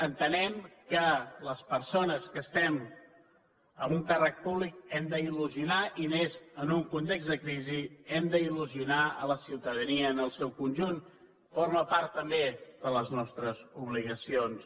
entenem que les persones que estem en un càrrec públic hem d’il·lusionar i més en un context de crisi hem d’il·lusionar la ciutadania en el seu conjunt forma part també de les nostres obligacions